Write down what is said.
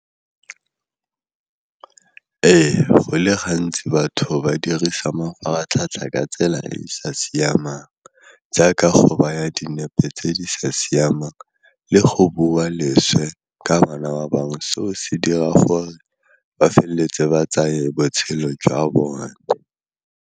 Ee, go le gantsi batho ba dirisa mafaratlhatlha ka tsela e e sa siamang jaaka go baya dinepe tse di sa siamang le go bua leswe ka bana ba bangwe seo se dira gore ba felletse ba tsaya matshelo jwa bone.